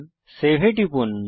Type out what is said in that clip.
save এ টিপুন